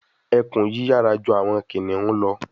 Ekun yiyara ju awọn kiniun lọ